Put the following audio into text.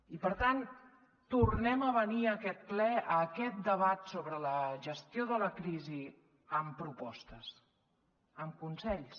i per tant tornem a venir a aquest ple a aquest debat sobre la gestió de la crisi amb propostes amb consells